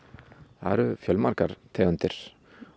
það eru fjölmargar tegundir